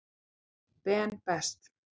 Ben Best.